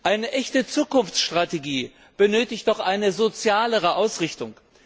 Eine echte Zukunftsstrategie benötigt doch eine sozialere Ausrichtung.